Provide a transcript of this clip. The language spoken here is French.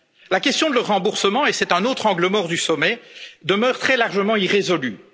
La question de leur remboursement, et c'est un autre angle mort du sommet, demeure très largement irrésolue.